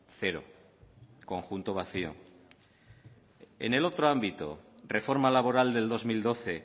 cero conjunto vacio en el otro ámbito reforma laboral del dos mil doce